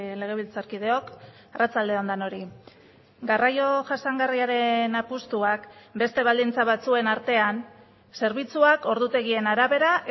legebiltzarkideok arratsalde on denoi garraio jasangarriaren apustuak beste baldintza batzuen artean zerbitzuak ordutegien arabera